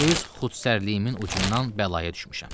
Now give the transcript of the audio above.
Öz xudsərliyimin ucundan bəlaya düşmüşəm.